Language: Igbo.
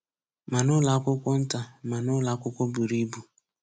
Ma n'ụlọ akwụkwọ nta ma n'ụlọ akwụkwọ buru ibu